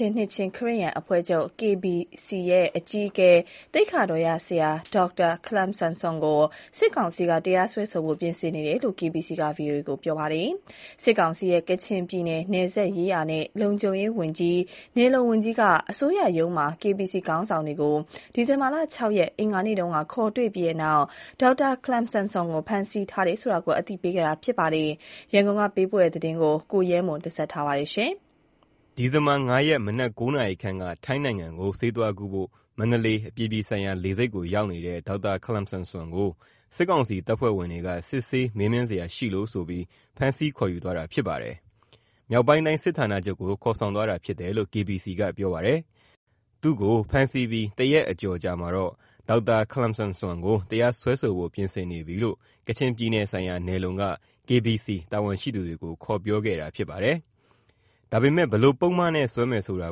ျင်နှစ်ခြင်းခရစ်ယာန်အဖွဲ့ချုပ် KBC ရဲ့အကြီးအကဲ သိက္ခာတော်ရဆရာ ဒေါက်တာ ခလမ်ဆမ် ဆွမ်ကို စစ်ကောင်စီက တရားစွဲဆိုဖို့ ပြင်ဆင်နေတယ်လို့ KBC က VOA ကိုပြောပါတယ်။ စစ်ကောင်စီရဲ့ ကချင်ပြည်နယ် နယ်စပ်ရေးရာနဲ့ လုံခြုံရေးဌာနဝန်ကြီးက အစိုးရရုံးမှာ KBC ခေါင်းဆောင်တွေကို ဒီဇင်ဘာ ၆ ရက် အင်္ဂါနေ့ခေါ်တွေ့ပြီးနောက် ဒေါက်တာခလမ်ဆမ်ဆွမ်ကို ဖမ်းဆီးထားတယ်ဆိုတာ အသိပေးခဲ့တာ ဖြစ်ပါတယ်။ ဒီသတင်း ရန်ကုန်ကပေးပို့လာတာကို ကိုရဲမွန်က ပြောပြမှာပါ။ ဒီဇင်ဘာ ၅ ရက်မနက် ၉ နာရီခန့်က ထိုင်းနိုင်ငံကို ဆေးသွားကုဖို့ မန္တလေး အပြည်ပြည်ဆိုင်ရာလေဆိပ်ရောက်နေတဲ့ ဒေါက်တာခလမ်ဆမ်ဆွမ်ကို စစ်ကောင်စီတပ်ဖွဲ့ဝင်တွေက စစ်ဆေး မေးမြန်းစရာရှိလို့ဆိုပြီး ဖမ်းဆီးခေါ်ယူသွားတာ ဖြစ်ပါတယ်။ မြောက်ပိုင်းတိုင်း စစ်ဌာနချုပ်ကို ခေါ်ဆောင်သွားတာဖြစ်တယ်လို့ KBC ကပြောပါတယ်။ သူ့ကို ဖမ်းဆီးပြီး ၁ ရက်ကျော် အကြာမှာတော့ ဒေါက်တာ ခလမ်ဆမ်ဆွမ်ကို တရားစွဲဆိုဖို့ ပြင်ဆင်နေပြီလို့ ကချင်ပြည်နယ်ဆိုင်ရာ (နယ်စပ်ရေးရာနဲ့လုံခြုံရေးဌာန)နယ်/လုံက KBC တာဝန်ရှိသူတွေကို ခေါ်ပြောခဲ့တာ ဖြစ်ပါတယ်။ ဒါပေမဲ့ ဘယ်လို့ ပုဒ်မနဲ့ စွဲမယ်ဆိုတာ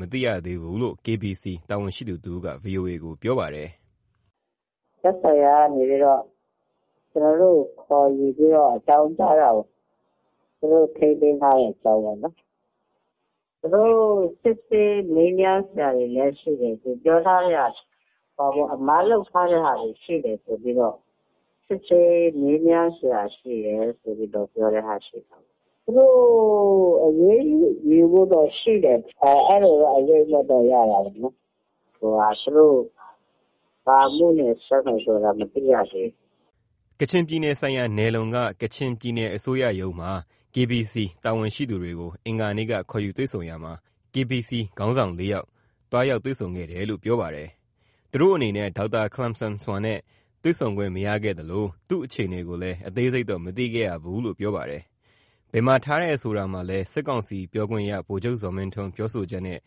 မသိရဘူးလို့ KBC တာဝန်ရှိသူတဦးက ဗွီအိုအေကိုပြောပါတယ်။ " သက်ဆိုင်ရာကနေ ကျနော်တို့ကို ခေါ်ယူ အကြောင်းကြားတာပေါ့။ သူတို့ ထိန်းသိမ်းထားတဲ့ အကြောင်းပေါ့။ သူတို့ စစ်ဆေးမေးမြန်းစရာရှိတယ် သူတို့ပြောတာတော့ အမှား လုပ်ထားတာရှိလို့ သူတို့စစ်ဆေး မေးမြန်းစရာ ရှိတယ်လို့ပြောတာပေါ့။ သူတို့ အရေးယူဖို့တော့ရှိတယ် အဲလိုတော့ အရိပ်အမြွက်ရပါတယ်။ သူတို့ဘာအမှုနဲ့ စွဲမယ်ဆိုတာတော့ မသိရဘူး။" ကချင်ပြည်နယ်ဆိုင်ရာ နယ်လုံက ကချင်ပြည်နယ်အစိုးရရုံးမှာ KBC တာဝန်ရှိသူတွေကို အင်္ဂါနေ့က ခေါ်ယူတွေ့ဆုံတာမှာ KBC ခေါင်းဆောင် ၄ ယောက် သွားရောက် တွေ့ဆုံခဲ့တယ်လို့ ပြောပါတယ်။ သူတို့အနေနဲ့ ဒေါက်တာ ခလမ်ဆမ်ဆွမ်နဲ့ တွေ့ဆုံခွင့် မရခဲ့သလို သူ့အခြေအနေကိုလည်း အသေးစိပ်တော့ မသိခဲ့ရဘူးလို့ပြောပါတယ်။ ဘယ်မှာထားတယ် ဆိုတာမှာလည်း စစ်ကောင်စီပြောခွင့်ရ ဗိုလ်ချုပ်ဇော်မင်းထွန်း ပြောဆိုချက်နဲ့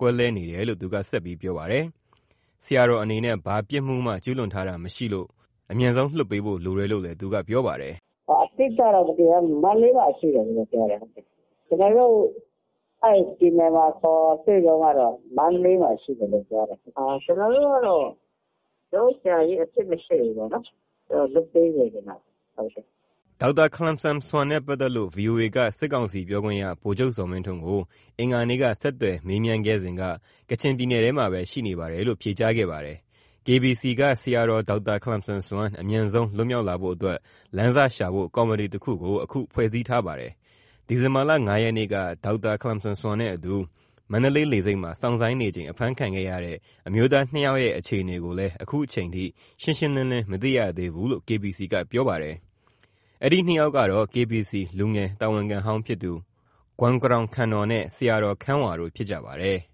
ကွဲလွဲနေတယ်လို့ သူက ဆက်ပြောပါတယ်။ ဆရာတော်အနေနဲ့ ဘာပြစ်မှုမှ ကျူးလွန်တာ မရှိတာမို့ အမြန်ဆုံး လွှတ်ပေးဖို့ လိုတယ်လို့လည်း သူကပြောပါတယ်။ "အတိအကျတော့ ဘာမှမသိရဘူး ခု မန္တလေးမှာ ရှိတယ်ပဲပြောတယ်။ ကျနော်တို့ကို ခေါ်တွေ့တုန်းကတော့ မန္တလေးမှာ ရှိတယ်လို့ပဲပြောတယ်။ ကျနော်တို့ဘက်ကတော့ ကျနော်တို့ ဆရာကြီးမှာ အပြစ်မရှိလို့ ပြန်လွှတ်ပေးစေချင်တယ်။" ဒေါက်တာ ခလမ်ဆမ်ဆွမ်နဲ့ ပတ်သက်လို့ VOA က စစ်ကောင်စီပြောခွင့်ရ ဗိုလ်ချုပ်ဇော်မင်းထွန်းကို အင်္ဂါနေ့က ဆက်သွယ်မေးခဲ့စဉ်က ကချင်ပြည်နယ်ထဲမှာပဲ ရှိနေပါတယ်လို့ ဖြေကြားခဲ့ပါတယ်။ KBC က ဆရာတော် ဒေါက်တာ ခလမ်ဆမ်ဆွမ် အမြန်ဆုံး လွတ်မြောက်လာဖို့အတွက် လမ်းစရှာဖို့ ကော်မတီတခုကို အခု ဖွဲ့စည်းထားပါတယ်။ ဒီဇင်ဘာ ၅ ရက်နေ့က ဒေါက်တာ ခလမ်ဆမ်ဆွမ်နဲ့အတူ မန္တလေးလေဆိပ်မှာ စောင့်ဆိုင်းနေချိန် အဖမ်းခံရတဲ့ အမျိုးသား ၂ ယောက်ရဲ့ အခြေအနေကိုလည်း ခုချိန်ထိ ရှင်းရှင်းလင်းလင်း မသိရသေးဘူးလို့ KBC ကပြောပါတယ်။ အဲဒီ ၂ ယောက်ကတော့ KBC လူငယ်တာဝန်ခံဟောင်းဖြစ်သူ ဂွမ်ကရောင်ခန်နော်နဲ့ ဆရာတော် ခမ်းဝါတို့ ဖြစ်ကြပါတယ်။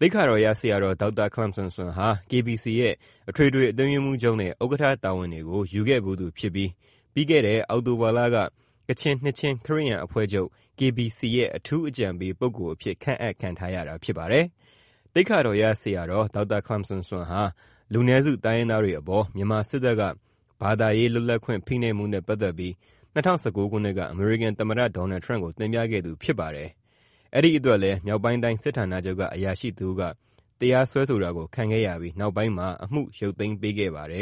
သိက္ခာတော်ရဆရာတော် ဒေါက်တာ ခလမ်ဆမ်ဆွမ်ဟာ KBC ရဲ့ အထွေထွေအတွင်းရေးမှူးချုပ်နဲ့ ဥက္ကဋ္ဌ တာဝန်တွေကို ယူခဲ့သူဖြစ်ပြီး ပြီးခဲ့တဲ့ အောက်တိုဘာလက ကချင်နှစ်ခြင်း ခရစ်ယာန်အဖွဲ့ချုပ် "KBC ရဲ့ အထူးအကြံပေးပုဂ္ဂိုလ်" အဖြစ် ခန့်အပ် ခံထားရတာဖြစ်ပါတယ်။ သိက္ခာတော်ရဆရာတော် ဒေါက်တာ ခလမ်ဆမ်ဆွမ်ဟာ လူနည်းစု တိုင်းရင်းသားတွေအပေါ် မြန်မာစစ်တပ်က ဘာသာရေး လွတ်လပ်ခွင့် ဖိနှိပ်မှုနဲ့ ပတ်သက်ပြီး ၂၀၁၉ ခုနှစ်က အမေရိကန်သမ္မတ ဒေါ်နယ်ထရမ့်ကို တင်ပြခဲ့သူလည်းဖြစ်ပါတယ်။ အဲဒါအတွက်လည်း မြောက်ပိုင်းတိုင်း စစ်ဌာနချုပ်က အရာရှိတစ်ဦးက တရားစွဲဆိုတာ ခံခဲ့ရပြီး နောက်ပိုင်းမှာ အမှုကို ပြန်လည် ရုပ်သိမ်းပေးခဲ့ပါတယ်